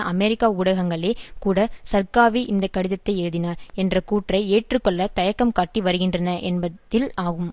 அமெரிக்க ஊடகங்களே கூட சர்க்காவி இந்த கடிதத்தை எழுதினார் என்ற கூற்றை ஏற்றுக்கொள்ள தயக்கம்காட்டி வருகின்றன என்பதில் ஆகும்